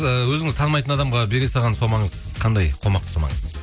і өзіңіз танымайтын адамға бере салған сомаңыз қандай қомақты сомаңыз